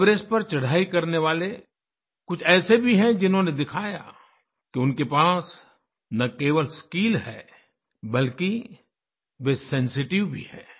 Everest पर चढ़ाई करने वाले कुछ ऐसे भी हैं जिन्होंने दिखाया कि उनके पास न केवल स्किल है बल्कि वे सेंसिटिव भी हैं